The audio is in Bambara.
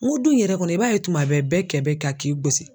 N ko du yɛrɛ kɔnɔ i b'a ye tuma bɛɛ kɛ bɛ ka k'i gosi.